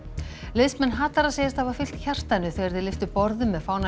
liðsmenn hatara segjast hafa fylgt hjartanu þegar þeir lyftu borðum með